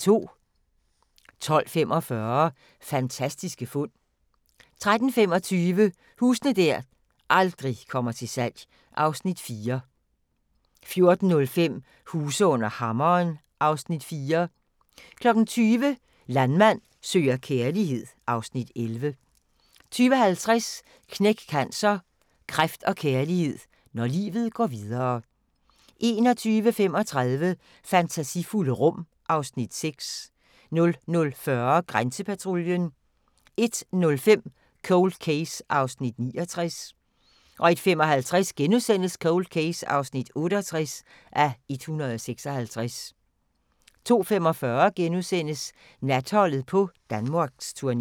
12:45: Fantastiske fund 13:25: Huse der aldrig kommer til salg (Afs. 4) 14:05: Huse under hammeren (Afs. 4) 20:00: Landmand søger kærlighed (Afs. 11) 20:50: Knæk Cancer: Kræft & kærlighed – når livet går videre... 21:35: Fantasifulde rum (Afs. 6) 00:40: Grænsepatruljen 01:05: Cold Case (69:156) 01:55: Cold Case (68:156)* 02:45: Natholdet på Danmarksturné *